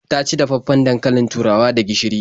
Ta ci dafaffen dankalin turawa da gishiri.